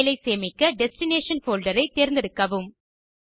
file ஐ சேமிக்க destination folder ஐ தேர்ந்தெடுக்கவும்